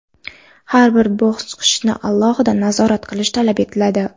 har bir bosqichini alohida nazorat qilish talab etiladi.